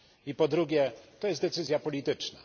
I po drugie to jest decyzja polityczna.